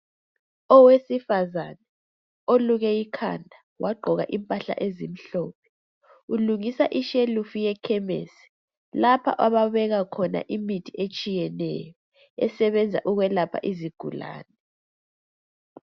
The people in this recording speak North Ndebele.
Owesifazane oluke ikhanda wagqoka impahla ezimhlophe ulungisa ishelufu yekhemisi lapho abafaka khona imithi etshiyeneyo esebenza ukwelapha izigulane.